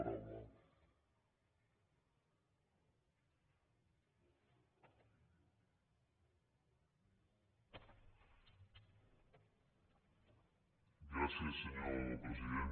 gràcies senyor president